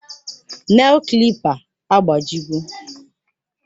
Nel klipa agbajiwo